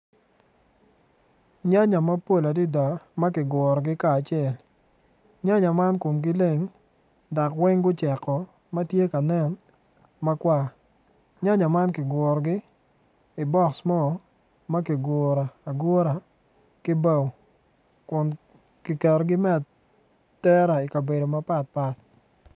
Nyanya mapol adada ma kigurogi kacel nyanya man komgi leng dok wneg guceko ma tye ka nen makwar nyanya man kigurogi i bok mo ma kiguro agura ki bao kun kiketogi me atera i kabedo mapat pat.